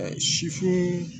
sifin